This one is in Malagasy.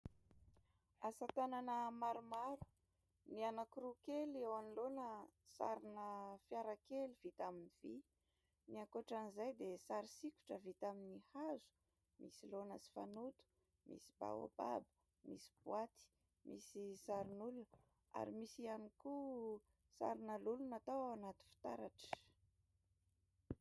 Asa tanana maromaro ny anankiroa kely eo anoloana sarina fiarakely vita amin'ny vy, ny ankoatran'izay dia sary sikotra vita amin'ny hazo, misy laona sy fanoto, misy baobab, misy boaty, misy sarin'olona ary misy ihany koa sarina lolo natao ao anaty fitaratra.